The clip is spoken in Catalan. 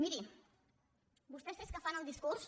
miri vostès és que fan el discurs